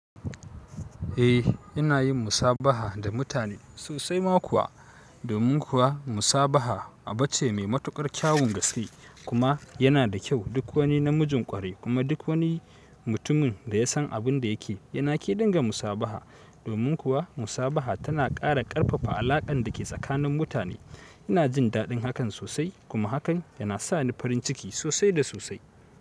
Eh, ina yin musabaha da mutane sosai ma kuwa. Domin kuwa musabaha abu ce mai matukar kyawun gaske kuma yana da kyau duk wani na mijin ƙwarai kuma duk wani mutumin da ya san abin da yake yana ƙe dinga musabaha. Domin kuwa musabaha tana ƙara ƙarfafa alaƙan dake tsakanin mutane. Ina jin daɗin hakan sosai kuma hakan yana sa ni farin ciki sosai da sosai.